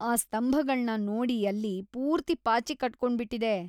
ಆ ಸ್ತಂಭಗಳ್ನ ನೋಡಿ ಅಲ್ಲಿ. ಪೂರ್ತಿ ಪಾಚಿ ಕಟ್ಕೊಂಡ್ಬಿಟಿದೆ.